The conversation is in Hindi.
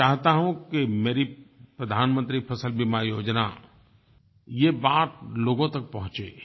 मैं चाहता हूँ कि मेरी प्रधानमंत्री फ़सल बीमा योजना ये बात लोगों तक पहुँचे